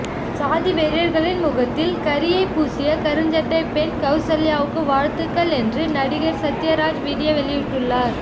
சாதி வெறியர்களின் முகத்தில் கரியைப் பூசிய கருஞ்சட்டைப் பெண் கவுசல்யாவுக்கு வாழ்த்துக்கள் என்று நடிகர் சத்யராஜ் வீடியோ வெளியிட்டுள்ளார்